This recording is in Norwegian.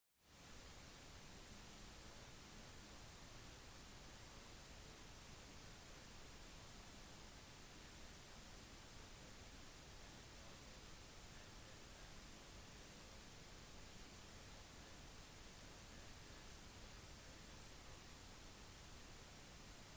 nivået med vann kommer kun til å stige noen meter etter flommen men tjenestemenn håper allikevel at det er nok til å gjenopprette eroderte sandbanker nedstrøms